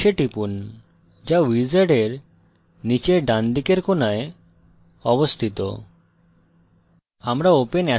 finish এ টিপুন যা wizard নীচের ডানদিকের corner অবস্থিত